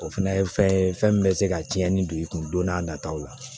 O fɛnɛ ye fɛn ye fɛn min bɛ se ka cɛnni don i kun don n'a nataw la